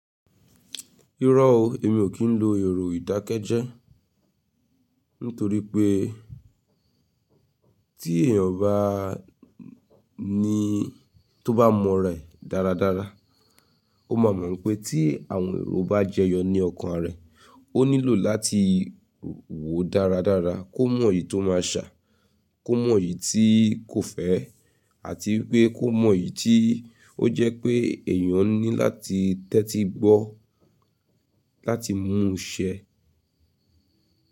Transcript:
Irọ́ o, èmi o kí n lo èrò ìdákẹ́jẹ́ nítorí pé tí èèyàn bá ní tó bá mọ ra e dáradára, ó máa mọ̀ pé tí àwọn èrò bá jẹyọ ní ọkàn rẹ̀, ó nílò láti wò dáradára kó mọ èyí tó máa ṣà, kó mọ èyí tí kò fẹ́ àti wipé kó mọ èyí tí ó jẹ́ pé èèyàn ní láti tẹ́tí gbọ́ láti mú un ṣẹ.